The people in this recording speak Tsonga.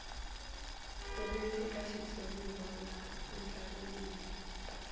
ririmi eka xitshuriwa ya andlariwile